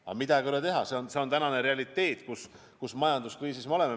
Aga midagi ei ole teha, see on tänane realiteet, millises majanduskriisis me oleme.